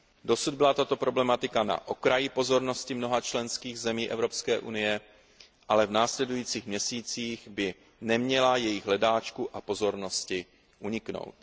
Dosud byla tato problematika na okraji pozornosti mnoha členských zemí EU, ale v následujících měsících by neměla jejich hledáčku a pozornosti uniknout.